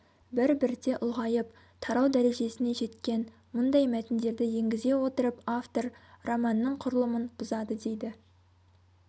бір-бірте ұлғайып тарау дәрежесіне жеткен мұндай мәтіндерді енгізе отырып автор романның құрылымын бұзады дейді